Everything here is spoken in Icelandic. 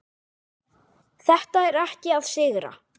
Þetta er ekki að sigra.